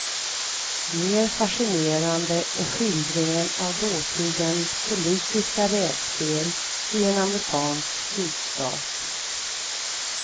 Mer fascinerande är skildringen av dåtidens politiska rävspel i en amerikansk sydstat.